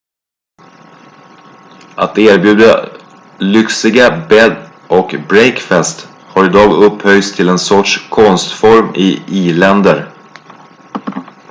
att erbjuda lyxiga bed & breakfasts har idag upphöjts till en sorts konstform i i-länder